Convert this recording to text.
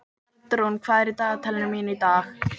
Bjarnrún, hvað er í dagatalinu mínu í dag?